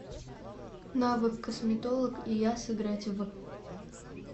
навык косметолог и я сыграть в